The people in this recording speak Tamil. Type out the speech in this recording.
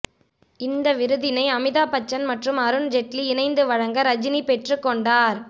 இந்ஹ விருதினை அமிதாப் பச்சன் மற்றும் அருண் ஜெட்லி இணைந்து வழங்க ரஜினி பெற்றுக்கொண்டார்